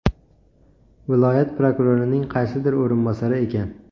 Viloyat prokurorining qaysidir o‘rinbosari ekan.